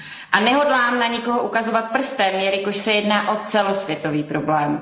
A nehodlám na nikoho ukazovat prstem, jelikož se jedná o celosvětový problém.